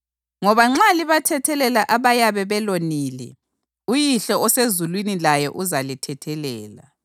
Ngoba nxa libathethelela abayabe belonile, uYihlo osezulwini laye uzalithethelela.